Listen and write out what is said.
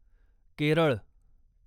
Kerala